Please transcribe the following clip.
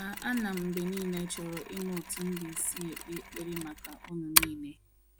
A A na m mgbe niile chọrọ ịma otu m ga-esi ekpe ekpere maka unu niile.